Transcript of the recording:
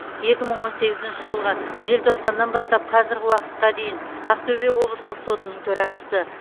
екі мың он сегізінші жылғы желтоқсаннан бастап қазіргі уақытқа дейін ақтөбе облыстық сотының төрағасы